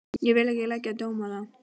Ég vil ekki leggja dóm á það.